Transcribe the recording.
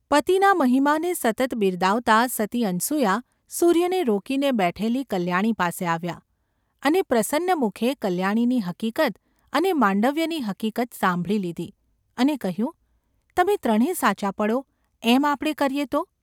પતિના મહિમાને સતત બિરદાવતાં સતી અનસૂયા સૂર્યને રોકીને બેઠેલી કલ્યાણી પાસે આવ્યાં, અને પ્રસન્ન મુખે કલ્યાણીની હકીક્ત અને માંડવ્યની હકીક્ત સાંભળી લીધી, અને કહ્યું :​ ‘તમે ત્રણે સાચાં પડો એમ આપણે કરીએ તો?